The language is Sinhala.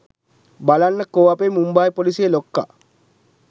බලන්න කෝ අපේ මුම්බායි පොලීසියේ ලොක්ක